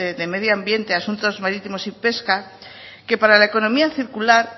de medio ambiente asunto marítimos y pesca que para la economía circular